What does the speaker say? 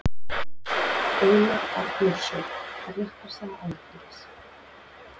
Einar Arnórsson: Réttarsaga Alþingis.